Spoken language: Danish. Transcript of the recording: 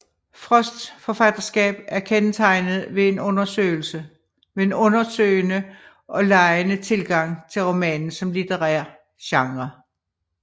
Frosts forfatterskab er kendetegnet ved en undersøgende og legende tilgang til romanen som litterær genre